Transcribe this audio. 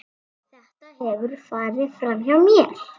Þetta hefur farið framhjá mér!